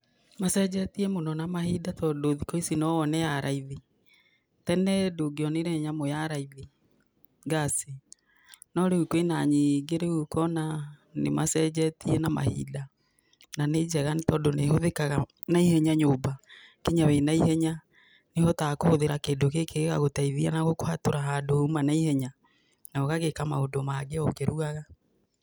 Macenjetie mũno na mahinda tondũ thikũ ici no wone ya raithi. Tene ndũngĩonire nyamũ ya raithi, ngaci no rĩu kwĩ na nyingĩ, rĩũ ũkona nĩ macenjetie na mahinda na nĩ njega, nĩ tondũ nĩ ĩhũthĩkaga na ihenya nyũmba nginya wĩna ihenya, nĩ ũhotaga kũhũthĩra kĩndũ gĩkĩ gĩgagũteithia na gũkũhatũra handũ uma na ihenya na ũgagĩka maũndũ mangĩ o ũkĩrugaga.